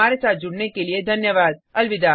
हमारे साथ जुड़ने के लिये धन्यवाद अलविदा